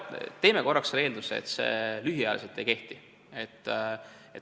Eeldame korraks, et see lühiajaliselt ei kehti.